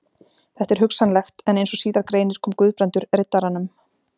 Þetta er hugsanlegt, en eins og síðar greinir kom Guðbrandur Riddaranum